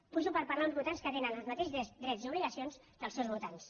pujo per parlar per uns votants que tenen els mateixos drets i obligacions que els seus votants